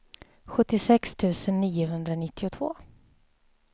sjuttiosex tusen niohundranittiotvå